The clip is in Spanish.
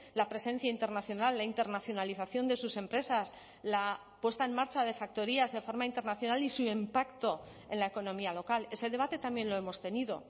la presencia internacional la internacionalización de sus empresas la puesta en marcha de factorías de forma internacional y su impacto en la economía local ese debate también lo hemos tenido